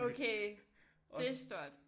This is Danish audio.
Okay det stort